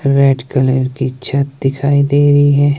Red की छत दिखाई दे रही है।